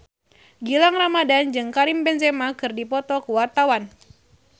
Gilang Ramadan jeung Karim Benzema keur dipoto ku wartawan